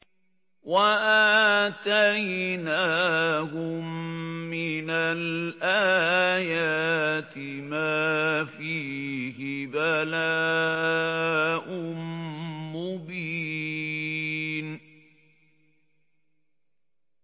وَآتَيْنَاهُم مِّنَ الْآيَاتِ مَا فِيهِ بَلَاءٌ مُّبِينٌ